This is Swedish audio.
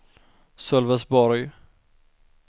Sölvesborg